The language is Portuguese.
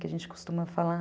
Que a gente costuma falar.